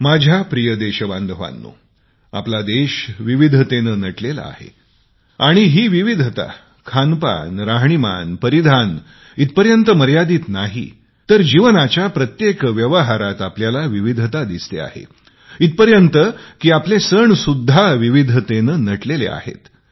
माझ्या प्रिय देशबांधवानो आपला देश विविधतेने नटलेला आहे आणि या विविधता खानपान राहणीमान परिधान इथपर्यंत मर्यादित नाहीत तर जीवनाच्या प्रत्येक व्यवहारात आपल्याला विविधता दिसते इथपर्यंत की आपले सण सुद्धा विविधतेने नटलेले आहेत